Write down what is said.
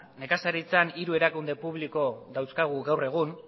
nekazaritzan hiru erakunde publiko dauzkagu gaur egun